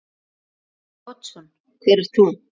Davíð Oddsson: Hver ert þú?